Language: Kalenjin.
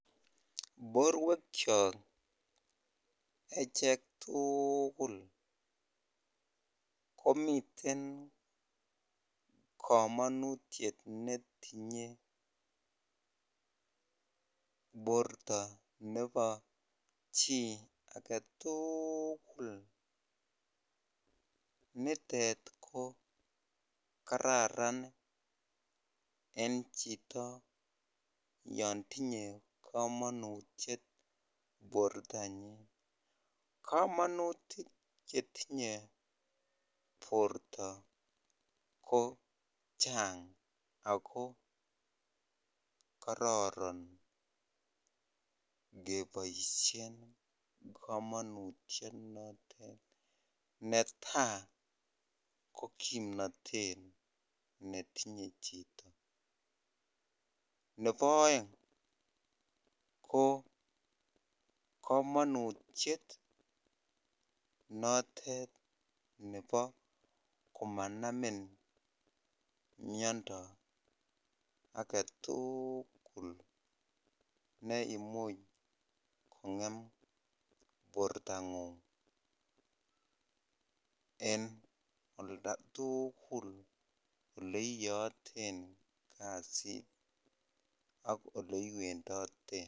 Borwekyok echek tukul komiten kamanutyet netinye borta nebo chi aketul, nitet ko kararan eng chito yon tinye kamanutyet bortonyin, kamanut netinye borta ko Chang ako kararan keboisyen kamanutyet noton ,neta ko kimnatet netinye chito ,nebo aeng ko kamanutyet notet nebo komanamin mnyando aketukul neimuch kongem bortangung, eng olda tukul oleiyaaten kasit ak ole iwendoten .